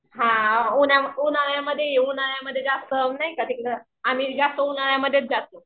हां उन्हाळ्यामध्ये ये उन्हाळ्यामध्ये नाही जास्त तिकडं आम्ही जास्त उन्हाळ्यामधेच जातो.